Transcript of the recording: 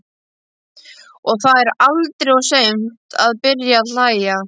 Og það er aldrei of seint að byrja að hlæja.